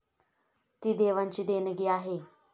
ती देवांची देणगी आहे.